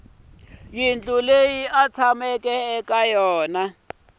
leyi a tshamaka eka yona